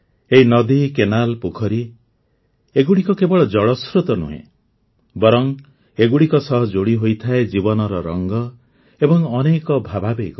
ଏହି ନଦୀ କେନାଲ୍ ପୋଖରୀ ଏଗୁଡ଼ିକ କେବଳ ଜଳସ୍ରୋତ ନୁହେଁ ବରଂ ଏଗୁଡ଼ିକ ସହ ଯୋଡ଼ି ହୋଇଥାଏ ଜୀବନର ରଙ୍ଗ ଏବଂ ଅନେକ ଭାବାବେଗ